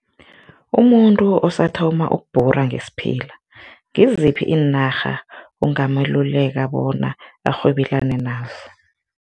Umuntu osathoma ukubhura ngesiphila ngiziphi iinarha ungameluleka bona arhwebelane nazo?